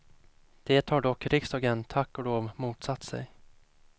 Det har dock riksdagen, tack och lov, motsatt sig.